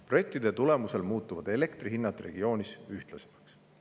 Projektide tulemusel muutuvad elektri hinnad regioonis ühtlasemaks.